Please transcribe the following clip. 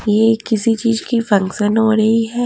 यह किसी चीज की फंक्शन हो रही है।